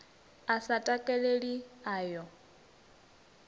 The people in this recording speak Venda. a sa takaleli o ya